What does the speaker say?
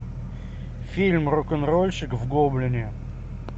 фильм рок н рольщик в гоблине